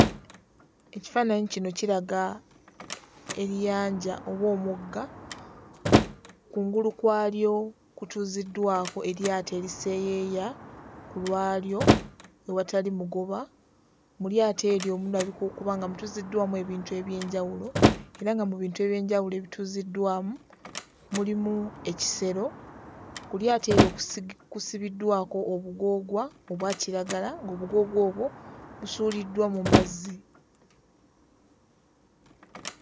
Ekifaananyi kino kiraga ennyanja oba omugga kungulu kwalyo kutuuziddwako eryato eriseeyeeya ku lwalyo ewatali mugoba. Mu lyato eryo mulabika okuba nga mutuuziddwamu ebintu eby'enjawulo era nga mu bintu eby'enjawulo ebituuziddwamu mulimu ekisero. Ku lyato eryo kusigi kusibiddwako obugoogwa obwa kiragala ng'obugoogwa obwo busuuliddwa mu mazzi.